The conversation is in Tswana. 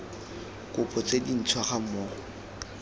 kopo tse dintšhwa ga mmogo